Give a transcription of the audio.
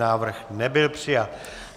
Návrh nebyl přijat.